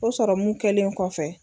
O sɔrɔmu kɛlen kɔfɛ